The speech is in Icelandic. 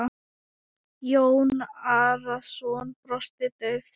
Jón Arason brosti dauft.